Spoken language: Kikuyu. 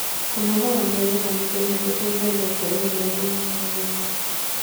kũnogora mwĩrĩ o mũthenya gũteithagia kueherĩa thumu mwĩrĩ-ini